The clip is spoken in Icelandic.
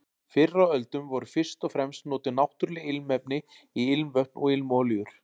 Fyrr á öldum voru fyrst og fremst notuð náttúruleg ilmefni í ilmvötn og ilmolíur.